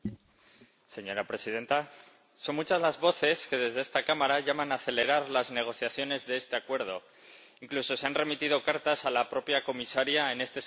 Señora Presidenta, son muchas las voces que desde esta Cámara llaman a acelerar las negociaciones de este Acuerdo, incluso se han remitido cartas a la propia Comisaria en este sentido.